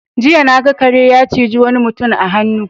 Jina na ga kare ya ciji wani mutum a hannu.